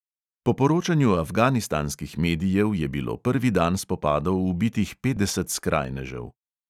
Po poročanju afganistanskih medijev je bilo prvi dan spopadov ubitih petdeset skrajnežev.